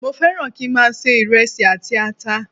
Mo fẹ́ràn kí í máa se iresi àti ata.